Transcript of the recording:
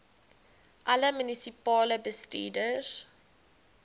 alle munisipale bestuurders